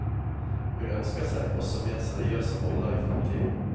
Hun ønsker seg også mer seriøse roller i fremtiden.